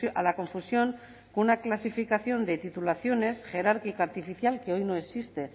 a la confusión con una clasificación de titulaciones jerárquica artificial que hoy no existe